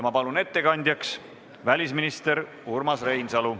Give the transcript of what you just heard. Palun ettekandjaks välisminister Urmas Reinsalu.